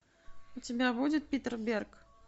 у тебя будет питер берг